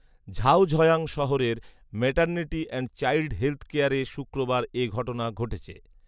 জাওঝয়াং শহরের maternity and child health কেয়ারে শুক্রবার এ ঘটনা ঘটেছে